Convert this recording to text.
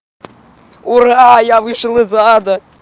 ура я вышел из ада